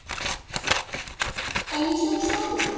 Eins og sólin.